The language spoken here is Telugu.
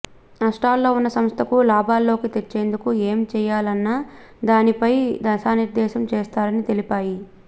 నష్టాల్లో ఉన్న సంస్థను లాభాల్లోకి తెచ్చేందుకు ఏం చేయాలన్న దానిపై దిశానిర్దేశం చేస్తారని తెలిపాయి